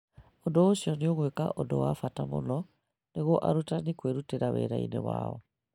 Ũndũ ũcio nĩũgwĩka ũndũ wa bata mũno nĩguo arutani kwĩrutĩra wĩra-inĩ wao.